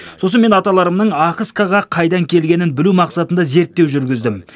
сосын мен аталарымның ахыскаға қайдан келгенін білу мақсатында зерттеу жүргіздім